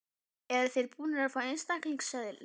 Eru þeir búnir að fá einstaklingseðli?